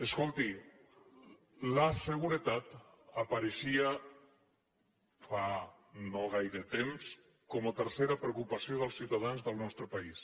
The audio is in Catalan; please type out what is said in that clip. escolti la seguretat apareixia fa no gaire temps com a tercera preocupació dels ciutadans del nostre país